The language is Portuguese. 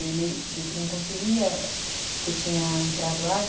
E ele viu que não conseguia, porque tinha entrado água.